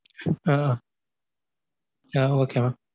ah ah okay mam